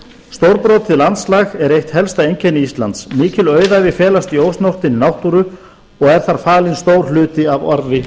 stórbrotið landslag er eitt helsta einkenni íslands mikil auðæfi felast í ósnortinni náttúrunni og er þar falinn stór hluti af arfi